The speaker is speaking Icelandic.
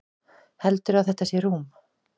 Heldurðu að þetta sé rúm?